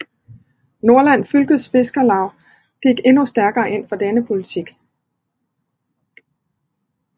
Nordland Fylkes Fiskarlag gik endnu stærkere ind for denne politik